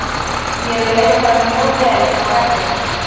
Mér leið bara mjög vel inná vellinum.